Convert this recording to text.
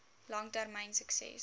lang termyn sukses